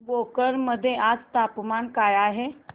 भोकर मध्ये आज तापमान काय आहे